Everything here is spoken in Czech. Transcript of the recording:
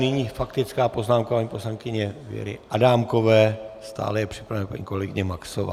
Nyní faktická poznámka paní poslankyně Věry Adámkové, stále je připravena paní kolegyně Maxová.